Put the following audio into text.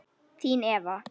Þín Eva